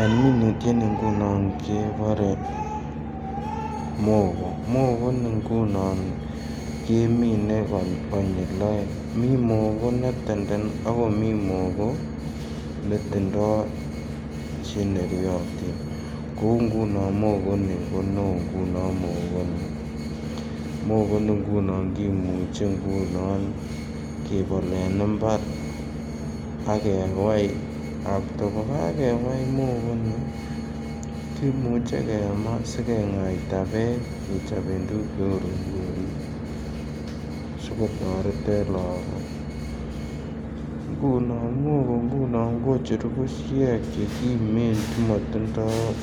En minutioni ngunon kebore mogo, mogo ni ngunon komine konyil oeng mii mogo be tenden ii Ako mii mogo netindo che neryotin kouu ngunon mogo Nii ko ne oo ngunon mogo Nii. Mogo ngunon kimuche ngunon kebol en imbar akewai after ko kakewai mogo Nii kimuche kemaa sigengaita beek kechoben tuguk che uu rogorik sigotoret en logok ngunon mogo kocheru bushek che kimen che motindoi